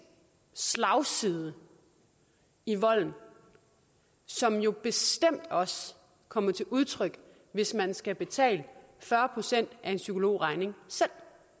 slagside i volden som jo bestemt også kommer til udtryk hvis man skal betale fyrre procent af en psykologregning selv